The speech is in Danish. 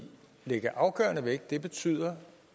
lægge afgørende vægt på betyder